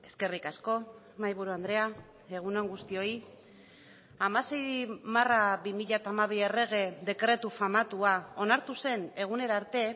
eskerrik asko mahaiburu andrea egun on guztioi hamasei barra bi mila hamabi errege dekretu famatua onartu zen egunera arte